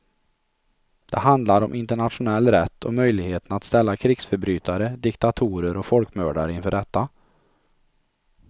Det handlar om internationell rätt och möjligheten att ställa krigsförbrytare, diktatorer och folkmördare inför rätta.